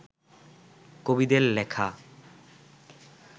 কবিদের লেখা